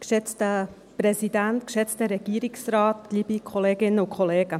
Kommissionsprecherin der GSoK.